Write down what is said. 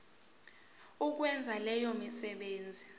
ukwenza leyo misebenzi